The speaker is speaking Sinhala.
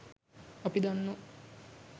අපි දන්නවා.